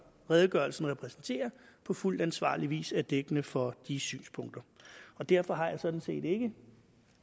redegørelsen repræsenterer på fuldt ansvarlig vis er dækkende for de synspunkter derfor har jeg sådan set ikke